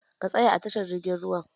Ka tsaya a tashar jirgin ruwan!